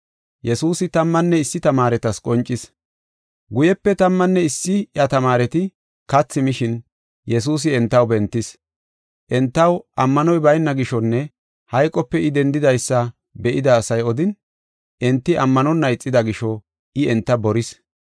Guyepe tammanne issi iya tamaareti kathi mishin, Yesuusi entaw bentis. Entaw ammanoy bayna gishonne hayqope I dendidaysa be7ida asay odin, enti ammanonna ixida gisho I enta boris.